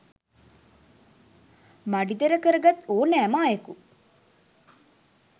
මඩි තර කරගත් ඕනෑම අයෙකු